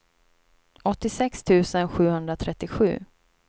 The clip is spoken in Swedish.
åttiosex tusen sjuhundratrettiosju